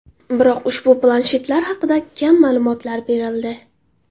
Biroq ushbu planshetlar haqida kam ma’lumotlar berildi.